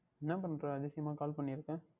என்ன பண்ணுகிறாய் அதிசயமாக Call பண்ணி இருக்கிறாய்